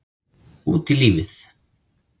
Út í lífið